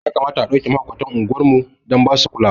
Ya kamata a ɗauke mahaukatan unguwar mu dan basu kulawa